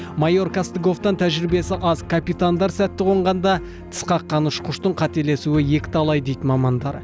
майор костыговтан тәжірибесі аз капитандар сәтті қонғанда тіс қаққан ұшқыштың қателесуі екіталай дейді мамандар